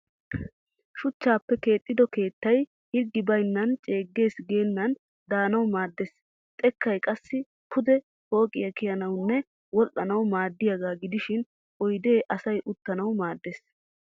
Shuchchaappe keexxido keettay hirggi bayinnan ceeggees geennan daanawu maaddes. Xekkay qassi pude pooqiya kiyanawunne wol'anawu maaddiyagaa gidishin oyidee asay uttanawu maaddes.